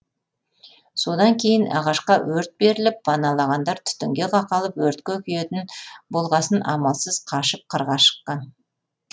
содан кейін ағашқа өрт беріліп паналағандар түтінге қақалып өртке күйетін болғасын амалсыз қашып қырға шыққан